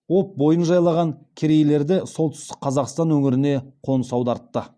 об бойын жайлаған керейлерді солтүстік қазақстан өңіріне қоныс аудартты